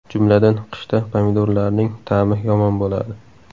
Jumladan, qishda pomidorlarning ta’mi yomon bo‘ladi.